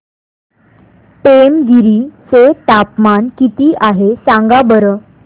पेमगिरी चे तापमान किती आहे सांगा बरं